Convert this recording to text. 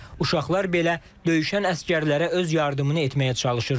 Uşaqlar belə döyüşən əsgərlərə öz yardımını etməyə çalışırdı.